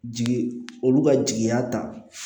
Jigi olu ka jigiya ta